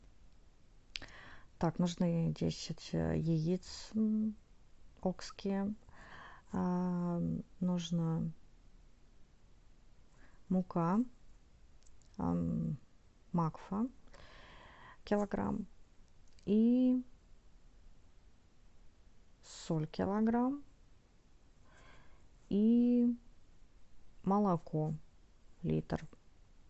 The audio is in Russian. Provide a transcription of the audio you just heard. так нужны десять яиц окские нужна мука макфа килограмм и соль килограмм и молоко литр